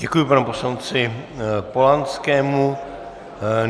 Děkuji panu poslanci Polanskému.